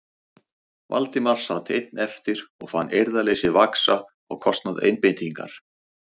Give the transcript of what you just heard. Valdimar sat einn eftir og fann eirðarleysið vaxa á kostnað einbeitingar.